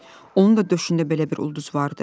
Onun da döşündə belə bir ulduz vardı.